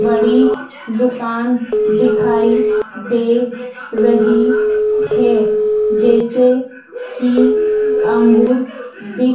बड़ी दुकान दिखाई दे रही है जैसे कि अंगूर दि--